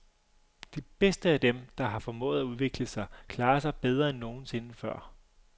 De bedste af dem, der har formået at udvikle sig, klarer sig bedre end nogen sinde før.